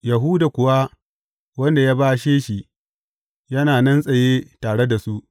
Yahuda kuwa wanda ya bashe shi yana nan tsaye tare da su.